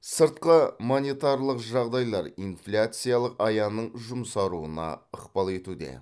сыртқы монетарлық жағдайлар инфляциялық аяның жұмсаруына ықпал етуде